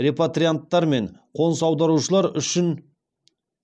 репатрианттар мен қоныс аударушылар үшін